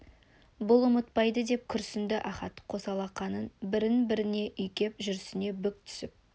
бұл ұмытпайды деп күрсінді ахат қос алақанын бір-біріне үйкеп жүресінен бүк түсіп